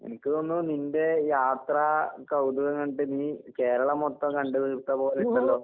എനിക്ക് തോന്നുന്നു നിന്റെ യാത്രാ കൗതുകം കണ്ടിട്ട് നീ കേരളം മൊത്തം കണ്ട് തീർത്തപോലെയൊണ്ടല്ലോ?